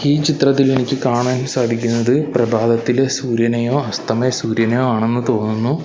ഈ ചിത്രത്തിൽ എനിക്ക് കാണാൻ സാധിക്കുന്നത് പ്രഭാതത്തിലെ സൂര്യനെയോ അസ്തമയ സൂര്യനെയോ ആണെന്ന് തോന്നുന്നു.